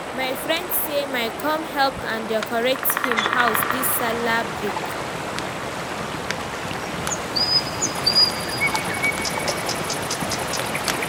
my friend say my come help am decorate him house dis Sallah break